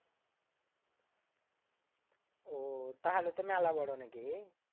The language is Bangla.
আহ তাহলেত মেলা বড় নাকি রে?